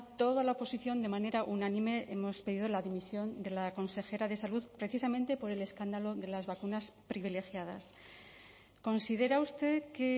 toda la oposición de manera unánime hemos pedido la dimisión de la consejera de salud precisamente por el escándalo de las vacunas privilegiadas considera usted que